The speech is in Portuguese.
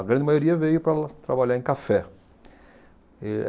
A grande maioria veio para trabalhar em café. E